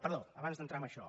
perdó abans d’entrar en això